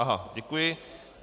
Aha, děkuji.